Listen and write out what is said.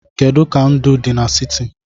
Kedu ka ndụ dị n'siti?